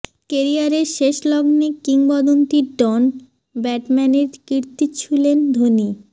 কেরিয়ারের শেষ লগ্নে কিংবদন্তি ডন ব্র্যাডম্যানের কীর্তি ছুঁলেন ধোনি